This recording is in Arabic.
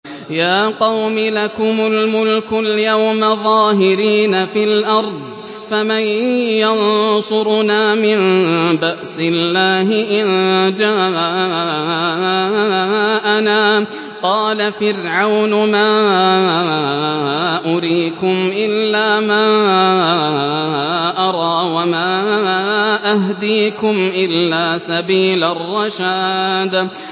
يَا قَوْمِ لَكُمُ الْمُلْكُ الْيَوْمَ ظَاهِرِينَ فِي الْأَرْضِ فَمَن يَنصُرُنَا مِن بَأْسِ اللَّهِ إِن جَاءَنَا ۚ قَالَ فِرْعَوْنُ مَا أُرِيكُمْ إِلَّا مَا أَرَىٰ وَمَا أَهْدِيكُمْ إِلَّا سَبِيلَ الرَّشَادِ